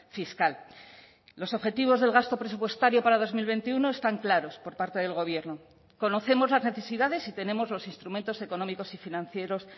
fiscal los objetivos del gasto presupuestario para dos mil veintiuno están claros por parte del gobierno conocemos las necesidades y tenemos los instrumentos económicos y financieros